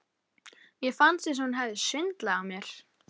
Mér fannst eins og hún hefði svindlað á mér.